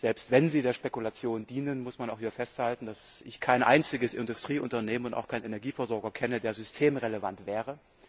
Selbst wenn sie der Spekulation dienen, muss man auch wieder festhalten, dass ich kein einziges Industrieunternehmen, auch keinen Energieversorger kenne, der systemrelevant wäre.